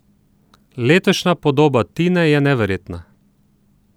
Letošnja podoba Tine je neverjetna.